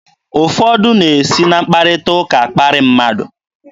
Ụfọdụ na-esi na mkparịta ụka akparị mmadụ.